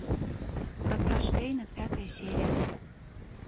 врата штейна пятая серия